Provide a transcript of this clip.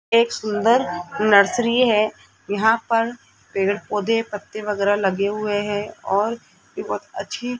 एक सुंदर नर्सरी है यहां पर पेड़ पौधे पत्ते वगैरा लगे हुए हैं और अच्छे --